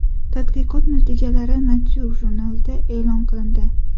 Tadqiqot natijalari Nature jurnalida e’lon qilindi .